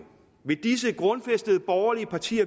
kl og til